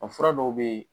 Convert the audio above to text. A fura dɔw bɛ yen